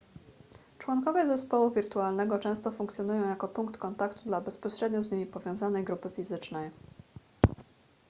członkowie zespołu wirtualnego często funkcjonują jako punkt kontaktu dla bezpośrednio z nimi powiązanej grupy fizycznej